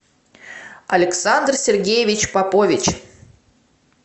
александр сергеевич попович